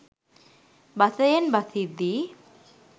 බසයෙන් බසිද්දී